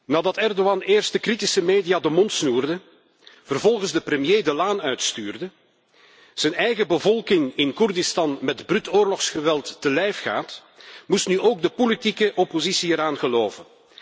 Nadat Ergodan eerst de kritische media de mond snoerde, vervolgens de premier de laan uitstuurde en zijn eigen bevolking in Koerdistan met bruut oorlogsgeweld te lijf ging, moest nu ook de politieke oppositie eraan geloven.